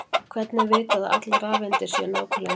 hvernig er vitað að allar rafeindir séu nákvæmlega eins